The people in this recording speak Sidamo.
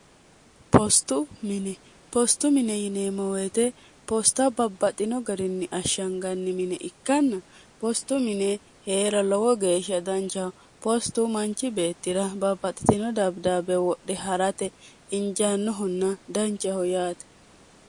ostu mini postu mine yinee moweete poosta babbaxino garinni ashshanganni mine ikkanna postu mine hee'ra lowo geeshsha danchaho poostu manchi beettira babbaxitino dabidaabbe wodhe ha'rate injaannohunna danceho yaate